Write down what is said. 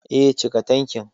Eh, cika tankin